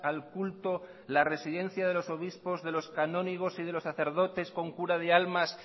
al culto la residencia de los obispos de los canónigos y de los sacerdotes con cura de almas